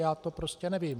Já to prostě nevím.